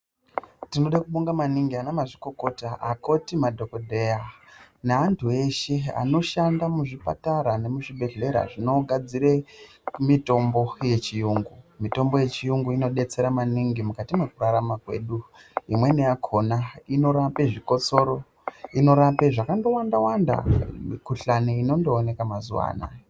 Tinoda kubonga ana mazvikokota ana mukoti madhokodheya neantu eshe anoshanda muzvipatara nemuzvibhedhlera zvinogadzira mitombo yechirungu mitombo yechirungu inodetsera maningi mukati mekurarama kwedu imweni yakona inorapa zvikotsoro inorapa zvakawanda wanda mikuhlani inondooneka mazuva anawa.